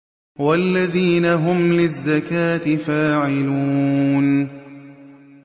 وَالَّذِينَ هُمْ لِلزَّكَاةِ فَاعِلُونَ